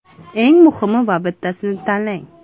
Eng muhimi va bittasini tanlang.